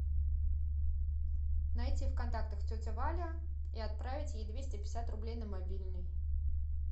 найти в контактах тетя валя и отправить ей двести пятьдесят рублей на мобильный